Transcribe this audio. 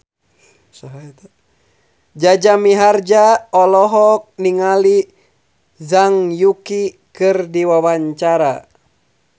Jaja Mihardja olohok ningali Zhang Yuqi keur diwawancara